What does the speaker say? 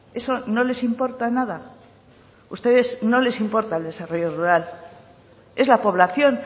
eso no les importa nada a ustedes no les importa el desarrollo rural es la población